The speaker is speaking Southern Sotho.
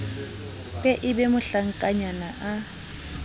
be e be mohlankanyana a